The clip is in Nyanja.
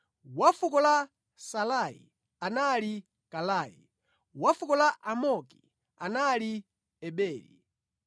wa fuko la Salai anali Kalai; wa fuko la Amoki anali Eberi;